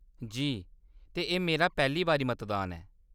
जी, ते एह्‌‌ मेरा पैह्‌ली बारी मतदान ऐ।